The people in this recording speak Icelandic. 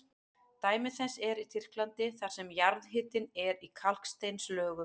Dæmi þess er í Tyrklandi þar sem jarðhitinn er í kalksteinslögum.